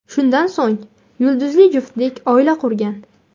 Shundan so‘ng yulduzli juftlik oila qurgan.